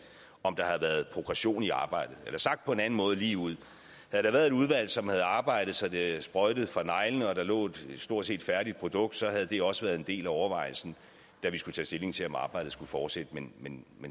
om der havde været progression i arbejdet sagt på en anden måde lige ud havde der været et udvalg som havde arbejdet så det sprøjtede fra neglene og der lå et stort set færdigt produkt så havde det også være en del af overvejelsen da vi skulle tage stilling til om arbejdet skulle fortsætte men men